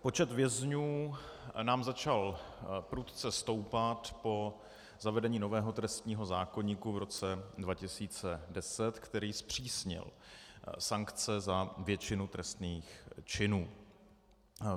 Počet vězňů nám začal prudce stoupat po zavedení nového trestního zákoníku v roce 2010, který zpřísnil sankce za většinu trestných činů.